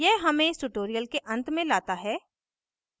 यह हमें इस tutorial के अंत में लाता है